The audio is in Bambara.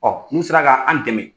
n'u sera ka an dɛmɛ.